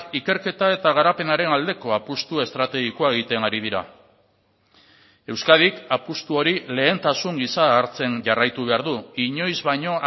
ikerketa eta garapenaren aldeko apustu estrategikoa egiten ari dira euskadik apustu hori lehentasun gisa hartzen jarraitu behar du inoiz baino